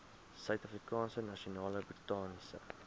suidafrikaanse nasionale botaniese